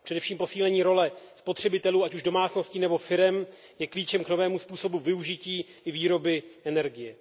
Především posílení role spotřebitelů, ať už domácností nebo firem, je klíčem k novému způsobu využití i výroby energie.